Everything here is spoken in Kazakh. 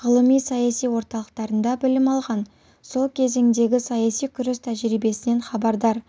ғылыми саяси орталықтарында білім алған сол кезеңдегі саяси күрес тәжірибесінен хабардар